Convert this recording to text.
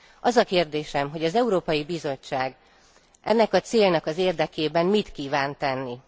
Az a kérdésem, hogy az Európai Bizottság ennek a célnak az érdekében mit kíván tenni?